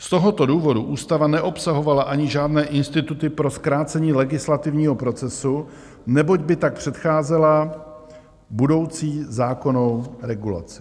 Z tohoto důvodu ústava neobsahovala ani žádné instituty pro zkrácení legislativního procesu, neboť by tak předcházela budoucí zákonnou regulaci.